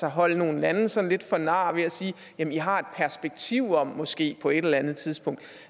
at holde nogle lande sådan lidt for nar ved at sige at de har et perspektiv om måske på et eller andet tidspunkt